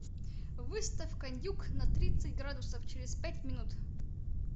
выставь кондюк на тридцать градусов через пять минут